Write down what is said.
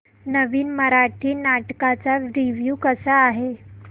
नवीन मराठी नाटक चा रिव्यू कसा आहे